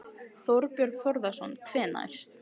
Þorbjörn Þórðarson: Hvenær?